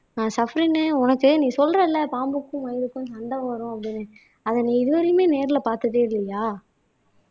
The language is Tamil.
ஆஹ் சஃப்ரின் உனக்கு நீ சொல்றல்ல பாம்புக்கும் மயிலுக்கும் சண்டை வரும் அப்படின்னு அதை நீ இதுவரையுமே நேர்ல பாத்ததே இல்லையா